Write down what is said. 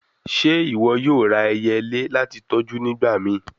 Ṣe iwọ yoo ra ẹyẹle lati tọju nigbamii?